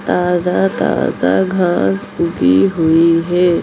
--ताज़ा-ताज़ा घास उगी हुई है।